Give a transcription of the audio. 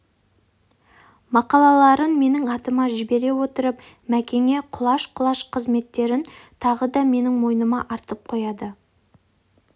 мақалаларын менің атыма жібере отырып мәкеңе құлаш құлаш құрметін тағы да менің мойныма артып қояды